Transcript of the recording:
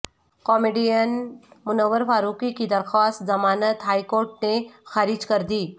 comedian Munawar Faruqui کی درخواست ضمانت ہائی کورٹ نے خارج کردی